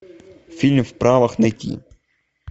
фильм в правах найти